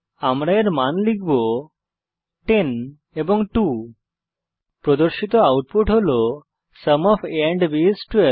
আমি এর মান লিখব 10 এবং 2 প্রদর্শিত আউটপুট হল sum of a and b is 12